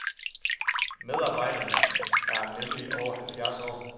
Medarbejderen er nemlig over halvfjerds år.